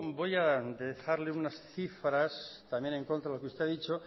voy a dejarle unas cifras también en contra de lo que usted ha dicho